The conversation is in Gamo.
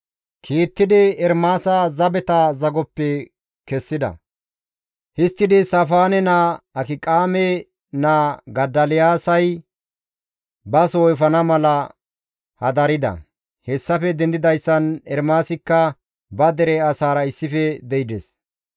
kiittidi Ermaasa zabeta zagoppe kessida; histtidi Saafaane naa, Akiqaame naa Godoliyaasay ba soo efana mala hadarida; hessafe dendidayssan Ermaasikka ba dere asaara issife de7ides.